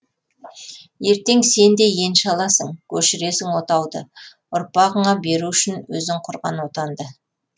ертең сен де енші аласың көшіресің отауды ұрпағыңа беру үшін өзің құрған отанды